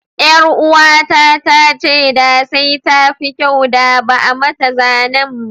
Ƴaruwata ta ce da sai tafi kyau da ba'a mata zanen ba.